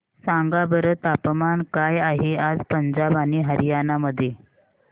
सांगा बरं तापमान काय आहे आज पंजाब आणि हरयाणा मध्ये